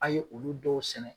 A ye olu dɔw sɛnɛ